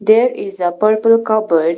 There is a purple cupboard .